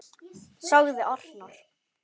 sagði arnar.